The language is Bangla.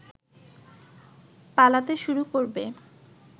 পালাতে শুরু করবে